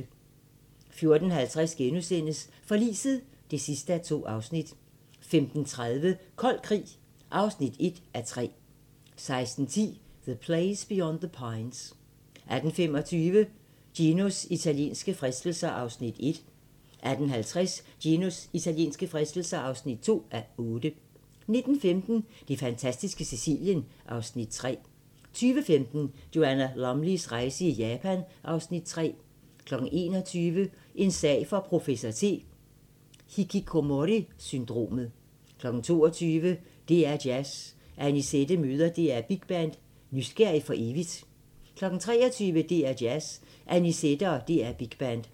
14:50: Forliset (2:2)* 15:30: Kold krig (1:3) 16:10: The Place Beyond the Pines 18:25: Ginos italienske fristelser (1:8) 18:50: Ginos italienske fristelser (2:8) 19:15: Det fantastiske Sicilien (Afs. 3) 20:15: Joanna Lumleys rejse i Japan (Afs. 3) 21:00: En sag for professor T: Hikikomori-syndromet 22:00: DR2 Jazz: Annisette møder DR Big Band – nysgerrig for evigt 23:00: DR2 Jazz: Annisette og DR Big Band